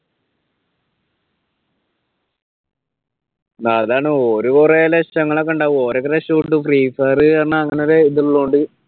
അതാണ് ഓര് കുറെ ലക്ഷങ്ങൾ ഒക്കെയുണ്ടാവും ഒരൊക്കെ രക്ഷപെട്ടു free fire എന്ന അങ്ങനെ ഒരു ഇതുള്ളകൊണ്ട്